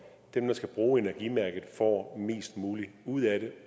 dem der skal bruge energimærket får mest muligt ud af det